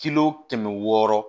Kilo kɛmɛ wɔɔrɔ